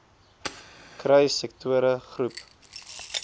kry sektore groep